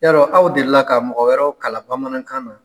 Yarɔ aw delila ka mɔgɔ wɛrɛw kalan bamanankan na?